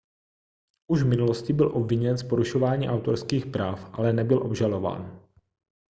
už v minulosti byl obviněn z porušování autorských práv ale nebyl obžalován